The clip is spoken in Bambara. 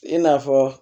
I n'a fɔ